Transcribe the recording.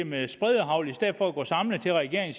med spredehagl i stedet for at man går samlet til regeringen